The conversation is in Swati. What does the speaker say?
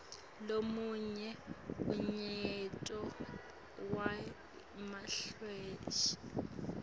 lomunye unyaito wemahhashi